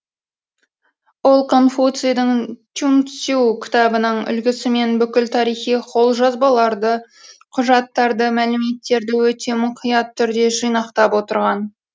ол конфуцийдің чуньцю кітабының үлгісімен бүкіл тарихи қолжазбаларды құжаттарды мәліметтерді өте мұқият түрде жинақтап отырған